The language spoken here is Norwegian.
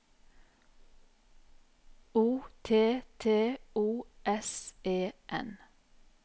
O T T O S E N